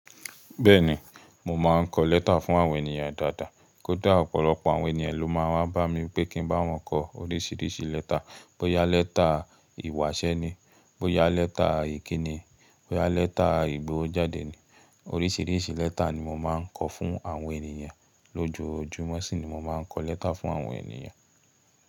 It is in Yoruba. Bẹ́ẹ̀ni, mo máa ń kọ lẹ́tà fún àwọn ènìyàn dáadáa. Kódà ọ̀pọ̀lọpọ̀ àwọn ènìyàn ló máa ń wa bá mi pé kí ń bá wọn kọ oríṣiríṣi lẹ́tà. Bóyá lẹ́tà ìwásẹ́ ni, bóyá lẹ́tà ìkíni, bóyá lẹ́tà ìgbówojáde ni. Oríṣiríṣi lẹ́tà ni mo máa ń kọ fún àwọn ènìyàn. Lójoojúmọ́ ṣìní mo máa ń kọ lẹ́tà fún àwọn ènìyàn.